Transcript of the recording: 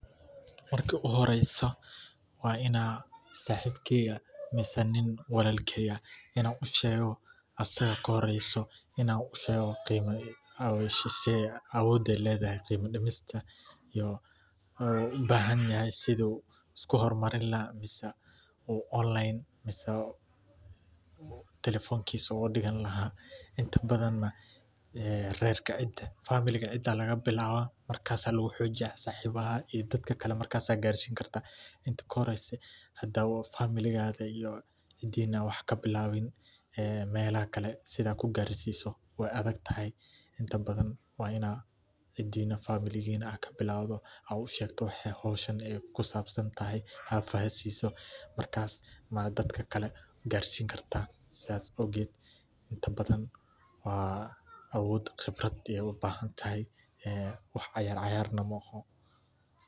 Marka uxoreysa wa ina sahibkeyga mise nin walalkey ah ina ushego asaga kahoreyso inan ushego, awoday ledahay qima dimista iyo ubahanyahay sidhuu iskuhormarin laha uu online mise tale0honkisa ogafigan lahaa inta badan nah rerka ciida family cidaa lagabilabaa, markas aya laguhujiyaa sahibaha iyo dadka kale markas ayad qarsin karta, inta lahoreysa hadawa iyo cidina wax kabilabin een .elaha kale sidha kugarsiso way adhagtahay inta badan wa ina ciidina aad kabilabto aad ushegto waxay howshaani kusabsantahay aad fahasisi markas dadakale qaar sin karat sas owged inta badan wa awod gibraf ayay ubahantahay ee wax ciyarciyarna maoxo.